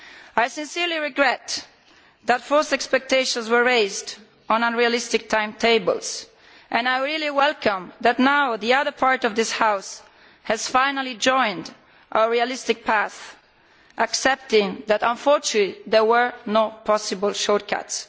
I sincerely regret that false expectations were raised with unrealistic timetables, and I am pleased that the other part of this House has finally joined our realistic path, accepting that, unfortunately, there were no possible shortcuts.